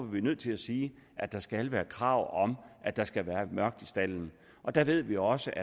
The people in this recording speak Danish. vi nødt til at sige at der skal være krav om at der skal være mørkt i staldene og der ved vi også